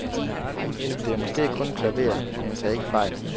Det er måske kun et klaver, men tag ikke fejl.